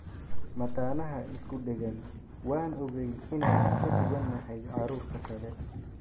Mataanaha isku dheggan: 'Waan ogeyn inaan ka duwanahay carruurta kale'